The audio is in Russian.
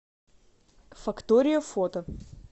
фактория фото